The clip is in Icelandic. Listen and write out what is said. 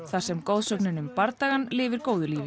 þar sem goðsögnin um bardagann lifir góðu lífi